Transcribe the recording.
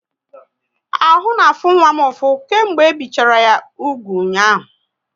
Ahụ na afụ nwa m ụfụ, kemgbe e bichala ya úgwù ụnyaahụ